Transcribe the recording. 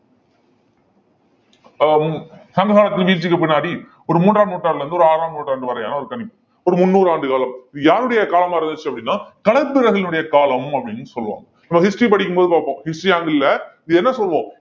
ஆஹ் சங்ககாலத்து வீழ்ச்சிக்கு பின்னாடி ஒரு மூன்றாம் நூற்றாண்டுல இருந்து ஒரு ஆறாம் நூற்றாண்டு வரையான ஒரு கணிப்பு ஒரு முந்நூறு ஆண்டு காலம் இது யாருடைய காலமா இருந்துச்சு அப்படின்னா களப்பிரர்களுடைய காலம் அப்படின்னு சொல்லுவோம் நாம history படிக்கும் போது பாப்போம் history angle அ இது என்ன சொல்லுவோம்